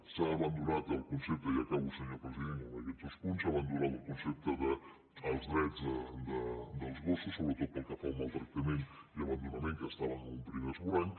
s’ha abandonat el concepte i acabo senyor president amb aquests dos punts dels drets dels gossos sobretot pel que fa al maltractament i abandonament que estaven en un primer esborrany